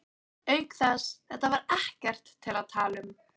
Auk þess, þetta var ekkert til að tala um.